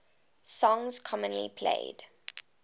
songs commonly played